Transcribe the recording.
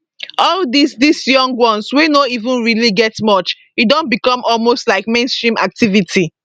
all dis dis young ones wey no even really get much e don become almost like mainstream activity